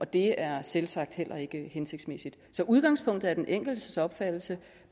det er selvsagt heller ikke hensigtsmæssigt så udgangspunktet er den enkeltes opfattelse